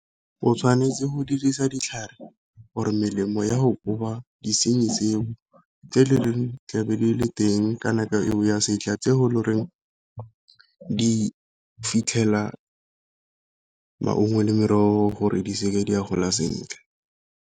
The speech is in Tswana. O tshwanetse go dirisa ditlhare or-e melemo ya go koba disenyi tseo, tse tlabe di le teng ka nako eo ya setlha tse go le goreng di fitlhela maungo le merogo gore di seke di a gola sentle.